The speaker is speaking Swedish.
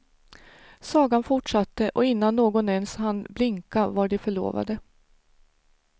Sagan fortsatte och innan någon ens hann blinka var de förlovade.